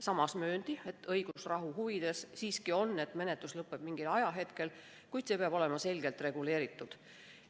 Samas mööndi, et on õigusrahu huvides, et menetlus mingil ajahetkel lõpeb, kuid see peab olema selgelt reguleeritud.